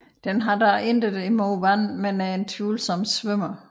Den har dog intet imod vand men er en tvivlsom svømmer